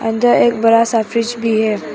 अंदर एक बड़ा सा फ्रिज भी है।